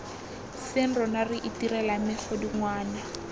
seng rona re itirelang megodungwana